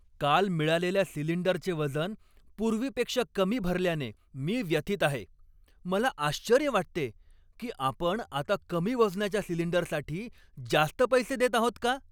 काल मिळालेल्या सिलिंडरचे वजन पूर्वीपेक्षा कमी भरल्याने मी व्यथित आहे. मला आश्चर्य वाटते की आपण आता कमी वजनाच्या सिलिंडरसाठी जास्त पैसे देत आहोत का?